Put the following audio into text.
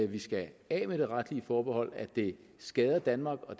vi skal af med det retlige forbehold at det skader danmark og